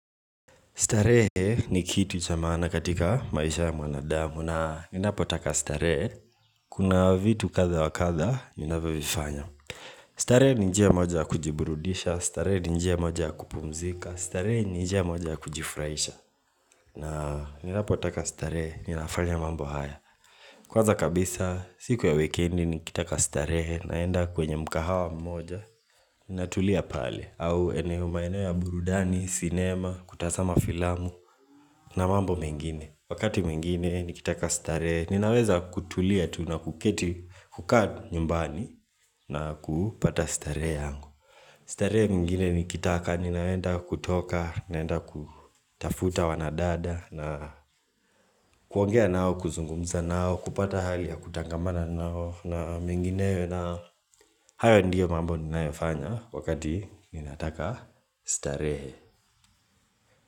Starehe ni kitu cha mana katika maisha ya mwanadamu na ninapotaka starehe kuna vitu kadha wa kadha ninavyovifanya starehe ni njia moja ya kujiburudisha, starehe ni njia moja ya kupumzika, starehe ni njia moja ya kujifurahisha na ninapotaka starehe ninafanya mambo haya. Kwanza kabisa siku ya weekendi nikitaka starehe naenda kwenye mkahawa mmoja natulia pale au eneo maeneo ya burudani, sinema, kutazama filamu na mambo mengine Wakati mwingine nikitaka starehe ninaweza kutulia tu na kuketi kukaa nyumbani na kupata starehe yangu starehe mingine nikitaka, ninaenda kutoka, ninaenda kutafuta wanadada na kuongea nao kuzungumza nao kupata hali ya kutangamana nao na mingineo hayo ndiyo mambo ninayofanya wakati ninataka starehe.